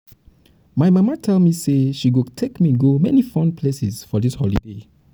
my mama tell me say she go take me go many fun places for dis holiday